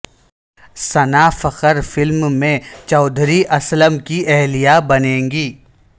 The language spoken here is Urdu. ثنا فخر فلم میں چوہدری اسلم کی اہلیہ بنیں گی